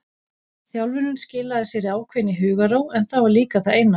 Þjálfunin skilaði sér í ákveðinni hugarró en það var líka það eina.